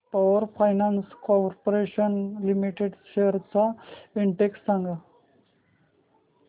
power finance corporation limited shares चा index सांगा